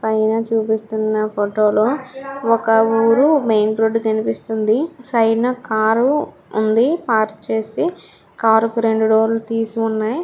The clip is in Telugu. పైన చూపిస్తున్న ఫోటో లో ఒక ఊరు మెయిన్ రోడ్డు కనిపిస్తుంది. సైడ్ న కారు ఉంది .పార్క్ చేసి కారు కు రెండు డోర్ లు తీసి ఉన్నాయి.